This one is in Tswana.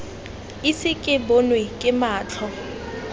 ise ke bonwe ke matlho